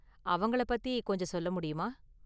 அவங்கள பத்தி கொஞ்சம் சொல்லமுடியுமா?